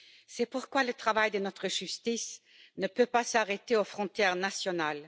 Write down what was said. C'est pourquoi le travail de notre justice ne peut s'arrêter aux frontières nationales.